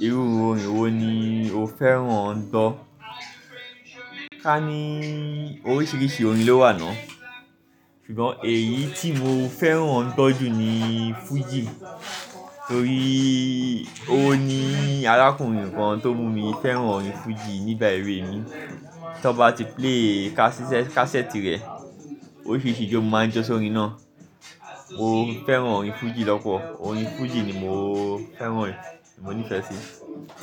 Irú orin wo ni o fẹ́ràn n gbo? Ká ní oríṣiríṣi orin ló wà náà, ṣùgbọ́n èyí tí mo fẹ́ràn n gbo jù ni fújì torí ó ni alákùnrin kan tó mú mi fẹ́ràn orin fújì nígbà èwe mi. Tí ọ bá ti play katiset kassette rẹ̀, oríṣiríṣi ijó mo máa ń jọ sórí ina. Mo fẹ́ràn orin fújì lọ́pọ̀lopo, orin fújì ni mo fẹ́ràn rẹ̀, mo nífẹ̀ẹ́ sí